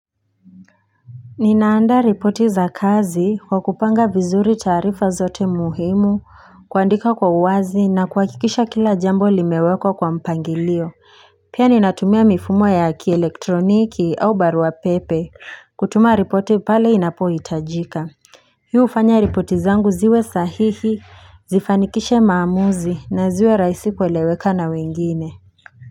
Ninaandaa ripoti za kazi kwa kupanga vizuri taarifa zote muhimu kuandika kwa uwazi na kuhakikisha kila jambo limewekwa kwa mpangilio Pia ninatumia mifumo ya kielektroniki au barua pepe kutuma ripoti pale inapohitajika Hii hufanya ripoti zangu ziwe sahihi zifanikishe maamuzi na ziwe raisi kueleweka na wengine.